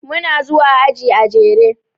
Muna zuwa aji a jere.